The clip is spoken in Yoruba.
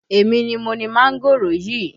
Èmi ni mo ni mángòrò yìí